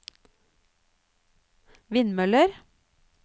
vindmøller